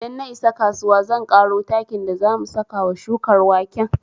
Idan na isa kasuwa zan ƙaro takin da za mu saka wa shukar waken